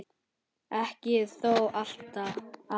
Ekki þó alltaf.